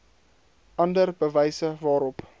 ander bewyse waarop